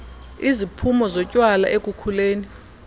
iziphumo zotywala ekukhuleni